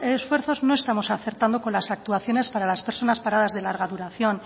esfuerzos no estamos acertando con las actuaciones para las personas paradas de larga duración